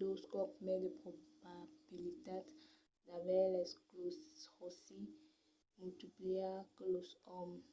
dos còps mai de probabilitats d'aver l'escleròsi multipla que los òmes